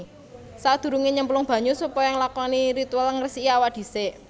Sakdurungé nyemplung banyu supaya nglakoni ritual ngresiki awak disik